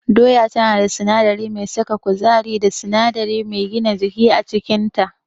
Doya tana da sinadari mai saka kuzari da sinadari mai gina jiki a cikinta.